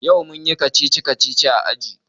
Yau mun yi kacici-kacici a aji.